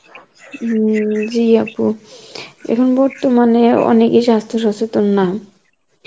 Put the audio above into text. হম জী আপু, এখন বর্তমানে, অনেকেই সাস্থ্য সচেতন না